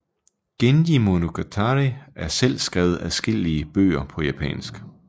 Genji monogatari og selv skrevet adskillige bøger på japansk